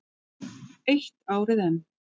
Eitt árið enn.